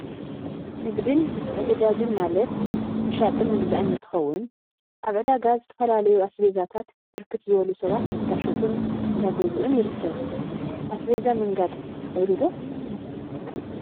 ንግድ ምትዕድዳግን ንግድን ምትዕድዳግን ማለት ምሻጥን ምግዛእን እንትኸውን፤ አብ ዕዳጋ ዝተፈላለዩ አስቤዛታት ብርክት ዝበሉ ሰባት እንዳሸጡን እንዳገዝኡን ይርከብ፡፡ አስቤዛ ምንጋድ ትክእሉ ዶ?